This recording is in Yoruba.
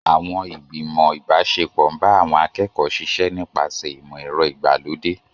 Àwọn ìgbìmọ̀ ìbáṣepọ̀ ń bá àwọn akẹ́kọ̀ọ́ ṣiṣẹ́ nípasẹ̀ ìmọ̀ ẹ̀rọ ìgbàlódé.